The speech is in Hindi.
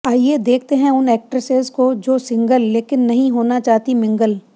आइए देखते हैं उन एक्ट्रेसेस को जो सिंगल लेकिन नहीं होना चाहतीं मिंगल